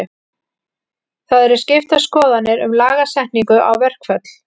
Það eru skiptar skoðanir um lagasetningu á verkföll.